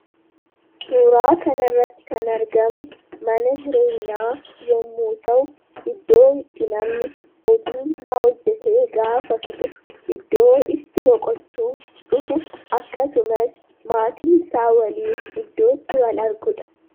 Suuraa kanarratti kan argamu mana jireenyaa yommuu ta'u, iddoo itti namni hojiisaa hojjatee gaafa fixu iddoo itti boqochuuf dhufu akkasumas maatiisaa waliin iddoo itti wal argudha.